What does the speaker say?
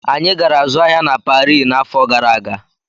Anyị gara zụọ ahịa na Parii n'afọ gara aga.